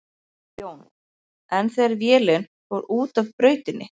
Jón: En þegar vélin fór út af brautinni?